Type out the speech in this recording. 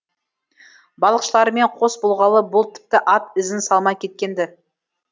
балықшылармен қос болғалы бұл тіпті ат ізін салмай кеткен ді